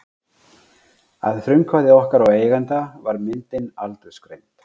Að frumkvæði okkar og eigenda var myndin aldursgreind.